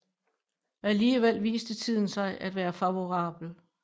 Alligevel viste tiden sig at være favorabel